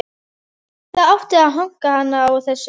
Það átti að hanka hann á þessu.